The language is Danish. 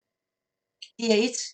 DR1